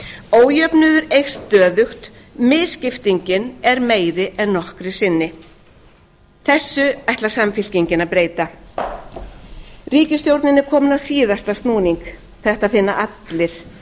ójöfnuður eykst stöðugt misskiptingin er meiri en nokkru sinni þessu ætlar samfylkingin að breyta ríkisstjórnin er komin á síðasta snúning þetta finna allir auðvitað hefur hún gert